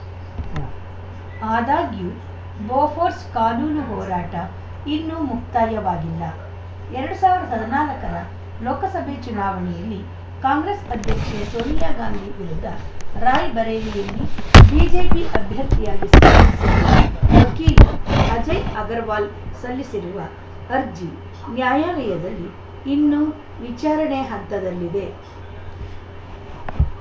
ಉಂ ಕೊಟ್ಟೂರಿನಲ್ಲಿದ್ದ ಸ್ವಾಮಿ ಕೊಡದಗುಡ್ಡಕ್ಕೆ ಬಂದು ನೆಲಸಿ ಭಕ್ತರನ್ನು ಕಾಪಾಡುತ್ತಿದ್ದಾನೆ ಎಂದು ತಿಳಿಸಿದರು